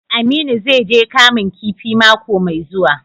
Aminu zai je Kamun kifi mako mai zuwa.